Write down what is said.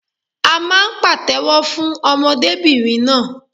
À máà ń pàtéwọ́ fún ọmọdébìnrin náà.